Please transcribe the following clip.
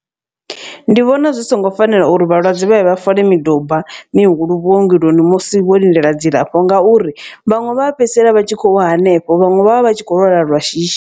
Ndi vhona zwi songo fanela uri vhalwadze vha ye vha fole miduba mihulu vhuongeloni musi vho lindela dzilafho. Ngauri vhaṅwe vha fhedzisela vha tshi khou wa hanefho vhaṅwe vha vha vha tshi kho lwala lwa shishi.